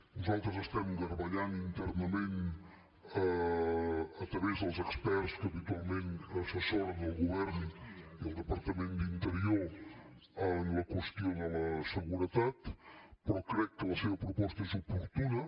nosaltres estem garbellant internament a través dels experts que habitualment assessoren el govern i el departament d’interior la qüestió de la seguretat però crec que la seva proposta és oportuna